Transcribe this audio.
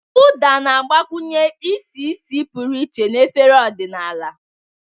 Uda na-agbakwụnye isi ísì pụrụ iche na efere ọdịnala.